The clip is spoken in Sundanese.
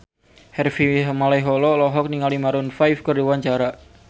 Harvey Malaiholo olohok ningali Maroon 5 keur diwawancara